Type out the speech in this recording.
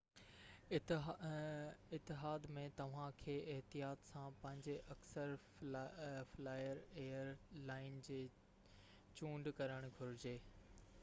اتحاد ۾ توھان کي احتياط سان پنھنجي اڪثر فلائر ايئر لائن جي چونڊ ڪرڻ گھرجي